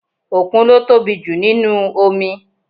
Òkun ló tóbi jù nínúu omi